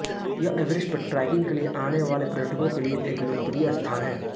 यह एवेरेस्ट पर ट्रैकिंग के लिए आने वाले पर्यटकों के लिए एक लोकप्रिय स्थान है